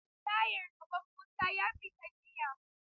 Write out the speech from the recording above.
Tayar gaban Musa ya fita jiya.